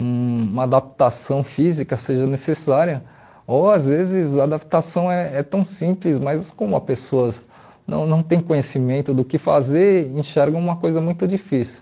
uma adaptação física seja necessária, ou às vezes a adaptação é é tão simples, mas como a pessoa não não tem conhecimento do que fazer, enxerga uma coisa muito difícil.